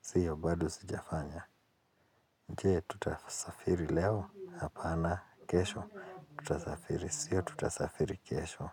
Siyo bado sijafanya. Nje, tutasafiri leo? Hapana. Kesho? Tutasafiri? Sio tutasafiri? Kesho?